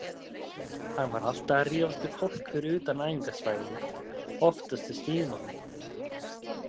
Hann var alltaf að rífast við fólk fyrir utan æfingasvæðið, oftast í símanum.